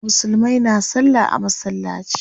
Musulmai na salla a masallaci.